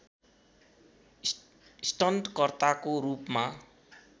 stunt कर्ताको रूपमा